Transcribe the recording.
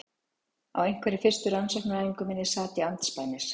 Á einhverri fyrstu rannsóknaræfingu minni sat ég andspænis